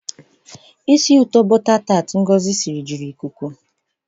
Isi ụtọ bọta taat Uju siri juru ikuku.